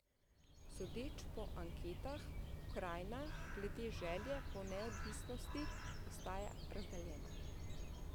Sodeč po anketah pokrajina glede želje po neodvisnosti ostaja razdeljena.